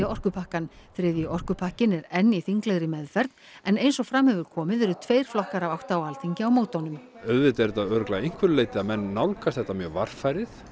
orkupakkann þriðji orkupakkinn er enn í þinglegri meðferð en eins og fram hefur komið eru tveir flokkar af átta á Alþingi á móti honum auðvitað er þetta að einhverju leyti að menn nálgast þetta mjög varfærið